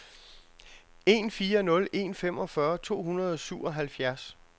en fire nul en femogfyrre to hundrede og syvoghalvfjerds